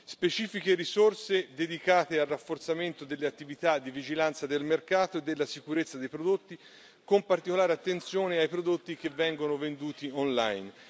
Specifiche risorse dedicate al rafforzamento delle attività di vigilanza del mercato e della sicurezza dei prodotti, con particolare attenzione ai prodotti che vengono venduti online.